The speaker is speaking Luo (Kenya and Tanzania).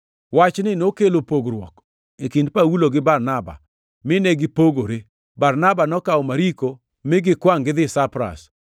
Wachni nokelo pogruok e kind Paulo gi Barnaba, mine gipogore. Barnaba nokawo Mariko mi gikwangʼ gidhi Saipras,